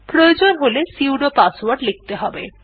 প্রয়োজন হলে sudo password লিখতে হবে